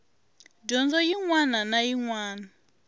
dyondzo yin wana na yin